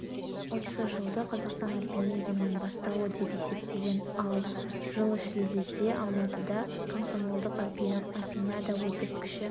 осы жылды қазақстан альпинизмінің бастауы деп есептеген ал жылы шілдеде алматыда комсомолдық альпиниада өтіп кіші